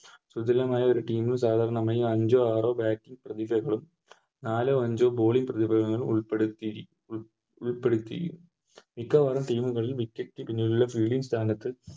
സുധിലമായൊരു Team ൽ സാധാരണമായി അഞ്ചോ ആറോ Bating പ്രതിഭകളും നാലോ അഞ്ചോ Bowling പ്രതിഭകളും ഉൾപ്പെടുത്തിയിരിക്കും ഉൾപ്പെടുത്തിയിരിക്കും ഇപ്പോളാണ് Team കളിൽ Wicket keep നുള്ള Fielding സ്ഥാനത്ത്